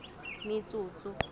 metsotso